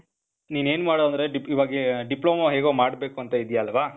ನೀನ್ ಏನು ಮಾಡು ಅಂದ್ರೆ, dip, ಇವಾಗೇ ಡಿಪ್ಲೋಮಾ ಹೇಗೋ ಮಾಡ್ಬೇಕು ಅಂತ ಇದ್ದೀಯ ಅಲ್ವಾ?